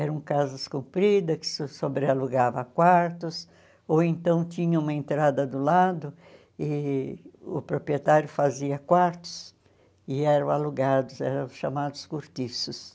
Eram casas compridas, que se sobrealugavam a quartos, ou então tinha uma entrada do lado e o proprietário fazia quartos e eram alugados, eram chamados cortiços.